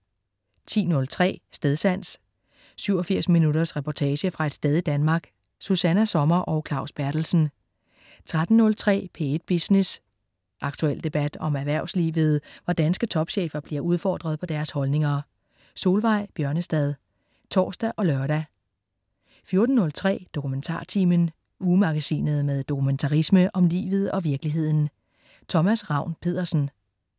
10.03 Stedsans. 87 minutters reportage fra et sted i Danmark. Susanna Sommer og Claus Berthelsen 13.03 P1 Business. Aktuel debat om erhvervslivet, hvor danske topchefer bliver udfordret på deres holdninger. Solveig Bjørnestad (tors og lør) 14.03 DokumentarTimen. Ugemagasinet med dokumentarisme om livet og virkeligheden. Thomas Ravn-Pedersen